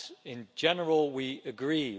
In general, we agree.